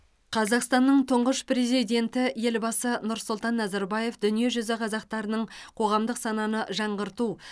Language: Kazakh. қазақстанның тұңғыш президенті елбасы нұрсұлтан назарбаев дүниежүзі қазақтарының қоғамдық сананы жаңғырту